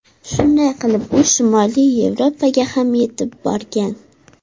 Shunday qilib u shimoliy Yevropaga ham etib borgan.